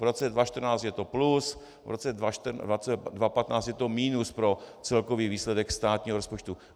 V roce 2014 je to plus, v roce 2015 je to minus pro celkový výsledek státního rozpočtu.